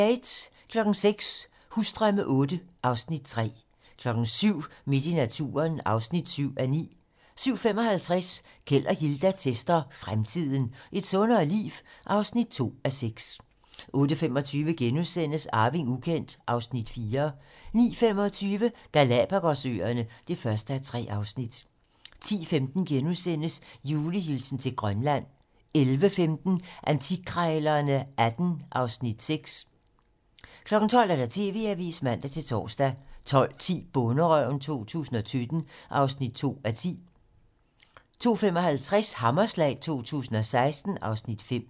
06:00: Husdrømme VIII (Afs. 3) 07:00: Midt i naturen (7:9) 07:55: Keld og Hilda tester fremtiden - Et sundere liv? (2:6) 08:25: Arving ukendt (Afs. 4)* 09:25: Galapagos-øerne (1:3) 10:15: Julehilsen til Grønland * 11:15: Antikkrejlerne XVIII (Afs. 6) 12:00: TV-Avisen (man-tor) 12:10: Bonderøven 2017 (2:10) 12:55: Hammerslag 2016 (Afs. 5)